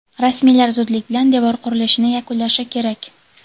rasmiylar zudlik bilan devor qurilishini yakunlashi kerak.